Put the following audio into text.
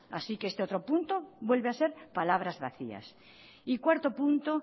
así que este otro punto vuelve a ser palabras vacías y cuarto punto